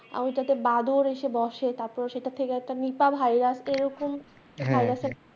আমিতো একটা বাদুড় এসে বসে, তাতে সেটা থেকে একটা নিপা ভাইরাস এইরকম হ্যাঁ হ্যাঁ